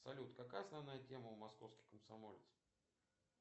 салют какая основная тема у московский комсомолец